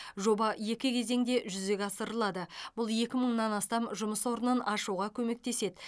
жоба екі кезеңде жүзеге асырылады бұл екі мыңнан астам жұмыс орнын ашуға көмектеседі